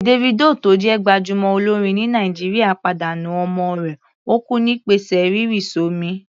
Davido tó jẹ́ gbájúmọ́ olórin ní Nàìjíríà pàdánù ọmọ rẹ̀, ó kú nípasẹ̀ rírì s'ọ́mi.